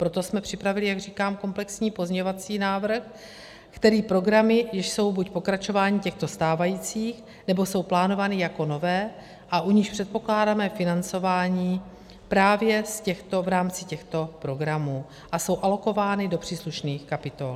Proto jsme připravili, jak říkám, komplexní pozměňovací návrh, který programy, jež jsou buď pokračováním těchto stávajících, nebo jsou plánovány jako nové a u nichž předpokládáme financování právě v rámci těchto programů a jsou alokovány do příslušných kapitol.